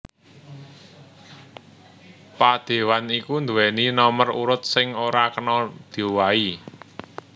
Padéwan iku nduwèni nomer urut sing ora kena diowahi